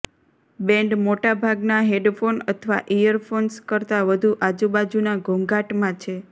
band મોટાભાગના headphone અથવા earphones કરતાં વધુ આજુબાજુના ઘોંઘાટમાં છે